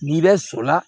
N'i bɛ sɔrɔla